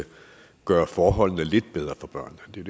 gøre forholdene lidt bedre for børnene det